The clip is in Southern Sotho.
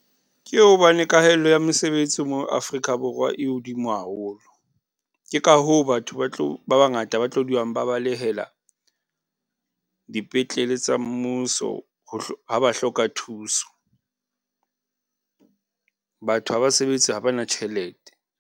Ke hobane kahello ya mosebetsi mo Afrika Borwa e hodimo haholo. Ke ka hoo batho ba bangata ba tlo dulang ba balehela dipetlele tsa mmuso ha ba hloka thuso. Batho ha ba sebetse habana tjhelete.